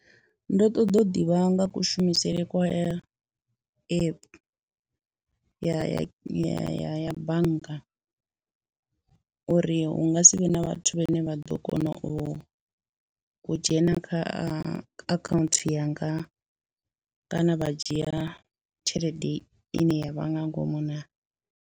Ndo ṱoḓa u ḓivha nga kushumisele kwa app ya ya ya ya bannga, uri hu nga si vhe na vhathu vhane vha ḓo kona u dzhena kha a akhanthu yanga kana vha dzhia tshelede i ne ya vha nga ngomu naa.